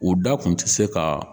O da kun tɛ se ka